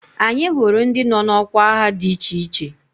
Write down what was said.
Anyị hụrụ ndị nọ n'ọkwa agha dị iche iche